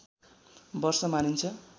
वर्ष मानिन्छ